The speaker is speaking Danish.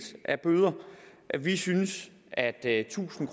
af bøder vi synes at at tusind